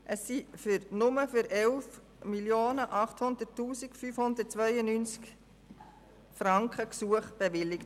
Es wurden Gesuche für nur 11 800 592 Franken bewilligt.